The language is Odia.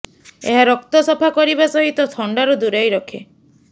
ଏହା ରକ୍ତ ସଫା କରିବା ସହିତ ଥଣ୍ଡାରୁ ଦୂରେଇ ରଖେ